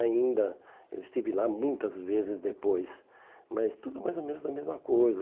Ainda, eu estive lá muitas vezes depois, mas tudo mais ou menos a mesma coisa.